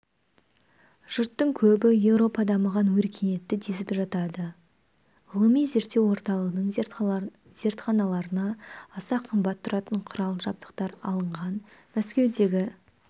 жұрттың көбі еуропа дамыған өркениетті десіп жатады ғылыми-зерттеу орталығының зертханаларына аса қымбат тұратын құрал-жабдықтар алынған мәскеудегі